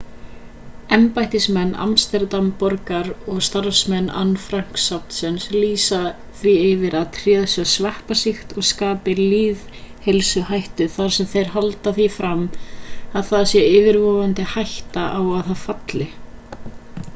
embættismenn amsterdam-borgar og starfsmenn anne frank-safnsins lýsa því yfir að tréð sé sveppasýkt og skapi lýðheilsuhættu þar sem þeir halda því fram að það sé yfirvofandi hætta á að það falli